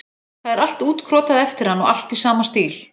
Það er allt útkrotað eftir hann og allt í sama stíl.